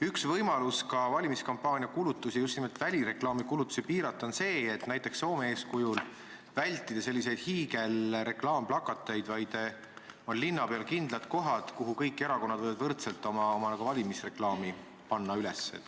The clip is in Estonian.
Üks võimalus valimiskampaania kulutusi, just nimelt välireklaami kulutusi, piirata on see, et näiteks Soome eeskujul vältida hiigelreklaamplakateid ja näha linna peal ette kindlad kohad, kuhu kõik erakonnad võivad võrdselt oma valimisreklaami üles panna.